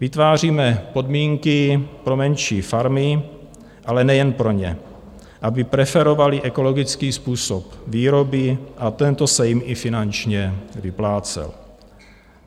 Vytváříme podmínky pro menší farmy, ale nejen pro ně, aby preferovaly ekologický způsob výroby a tento se jim i finančně vyplácel.